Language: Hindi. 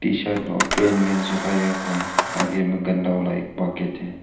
टी शर्ट सुखाया हुआ है आगे में गंदा वाला एक पॉकेट है।